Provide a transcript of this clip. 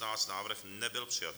Návrh nebyl přijat.